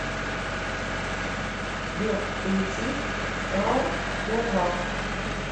сбер включи таур террал